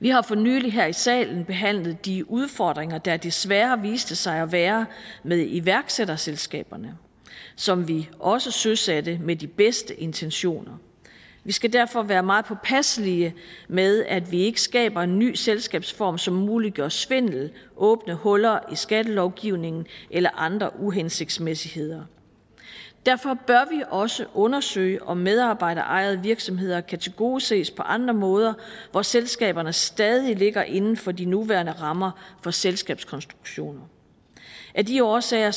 vi har for nylig her i salen behandlet de udfordringer der desværre viste sig at være med iværksætterselskaberne som vi også søsatte med de bedste intentioner vi skal derfor være meget påpasselige med at vi ikke skaber en ny selskabsform som muliggør svindel åbne huller i skattelovgivningen eller andre uhensigtsmæssigheder derfor bør vi også undersøge om medarbejderejede virksomheder kan tilgodeses på andre måder hvor selskaberne stadig ligger inden for de nuværende rammer for selskabskonstruktioner af de årsager